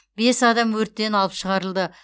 бес адам өрттен алып шығарылды